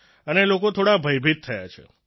અને લોકો થોડા ભયભીત થયા છે